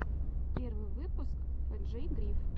первый выпуск фрэджей гриф